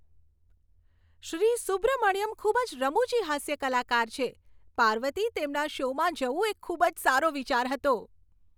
શ્રી સુબ્રમણ્યમ ખૂબ જ રમૂજી હાસ્ય કલાકાર છે. પાર્વતી, તેમના શોમાં જવું એ ખૂબ જ સારો વિચાર હતો.